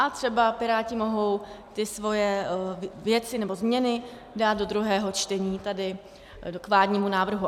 A třeba Piráti mohou ty svoje věci, nebo změny, dát do druhého čtení tady k vládnímu návrhu.